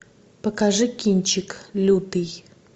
покажи кинчик лютый